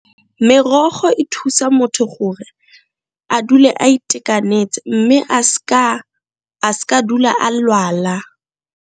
Merogo e thusa motho gore a dule a itekanetse mme a s'ka dula a lwala.